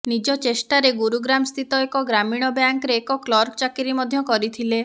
ନିଜ ଚେଷ୍ଟାରେ ଗୁରୁଗ୍ରାମ ସ୍ଥିତ ଏକ ଗ୍ରାମୀଣ ବ୍ୟାଙ୍କରେ ଏକ କ୍ଲର୍କ ଚାକିରୀ ମଧ୍ୟ କରିଥିଲେ